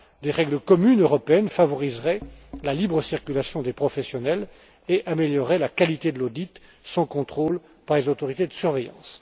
Des règles communes européennes favoriseraient la libre circulation des professionnels et amélioreraient la qualité de l'audit et son contrôle par les autorités de surveillance.